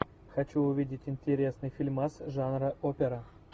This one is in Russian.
хочу увидеть интересный фильмас жанра опера